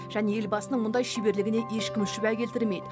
және елбасының мұндай шеберлігіне ешкім шүбә келтірмейді